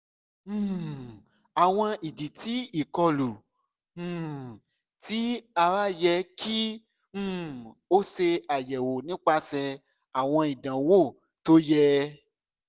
um awọn idi ti ikolu um ti ara yẹ ki um o ṣe ayẹwo nipasẹ awọn idanwo to yẹ